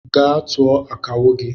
Gaa tụọ akawo gi!